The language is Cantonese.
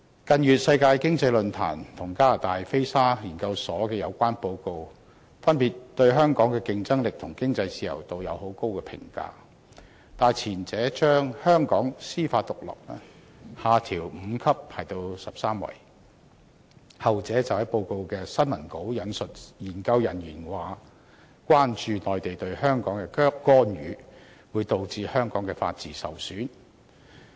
近月，世界經濟論壇和加拿大菲沙研究所的有關報告，分別對香港的競爭力和經濟自由度作出高度評價，但前者將香港的司法獨立排名下調5級至第十三位，後者則在報告的新聞稿引述研究人員意見，表示關注內地對香港的干預會導致香港法治受損。